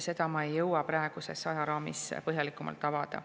Seda ma ei jõua praeguses ajaraamis põhjalikumalt avada.